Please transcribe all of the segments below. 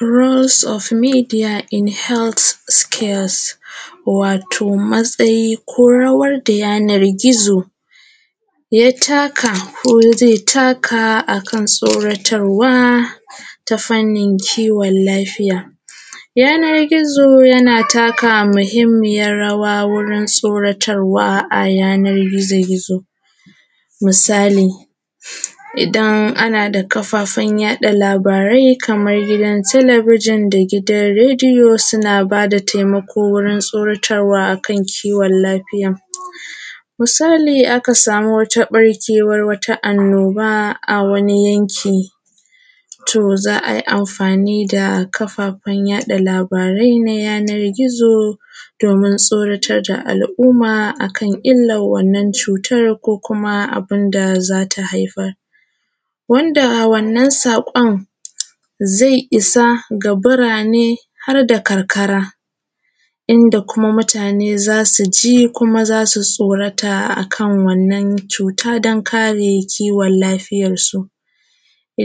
Roles of media in healthcare. Wato matsayin ko rawar da yanar gizo ya taka ko zai taka akan tsoratarwa ta fannin kiwon lafiya yanar gizo yana taka muhimmiyar rawa wurin tsoratarwa a yanar gizo gizo misali. Idan ana da kafafen yaɗa labari kamar gidan talabijin da gidan Radio suna da taimako akan kowon lafiya, misali idan aka sama wani barkewar annoba a wani yanki ti za a yi amfani da kafafen yaɗa labarai na yanar gizo domin tsoratar da al'umma akan wannan cutar da kuma abun da za ta haifar. Wanda a wannan saƙon zai isa ga burane har da karkara inda kuma mutane za su ji kuma za su tsorata a kan wannan cuta don kare kiwon lafiyarsu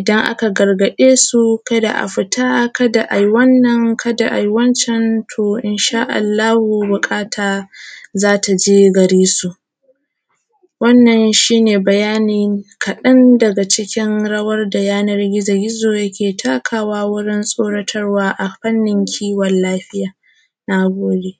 za a gargaɗe su ka da a fita ka da a yi wannan ka da a yi wancan to insha Allahu buƙata za ta je gare su. Wannan shi ne bayanin rawar da yanar gizo-gizo dake takawa a wajen fannin kiwon lafiya. Na gode